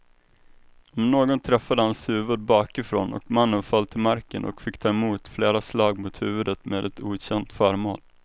Något träffade hans huvud bakifrån och mannen föll till marken och fick ta emot flera slag mot huvudet med ett okänt föremål.